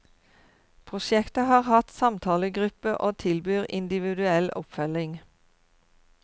Prosjektet har hatt samtalegruppe og tilbyr individuell oppfølging.